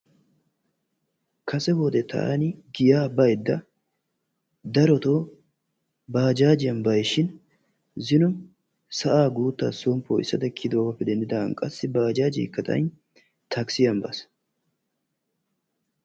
Kase wode taani giyaa baydda darotoo baajjajiyan bays shin zino sa'aa guuttaa son poo'isada kiyidoogaappe denddidaagan qassi baajaajeekka xayin takissiyan baas.